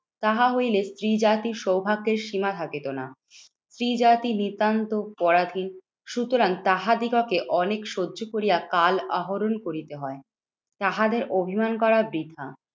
তাহা হইলে স্ত্রী জাতির সৌভাগ্যের সীমা থাকিত না। স্ত্রী জাতি নিতান্ত পরাধীন। সুতরাং তাহাদিগকে অনেক সহ্য করিয়া কাল আহরণ করিতে হয়। তাহাদের অভিমান করা বৃথা।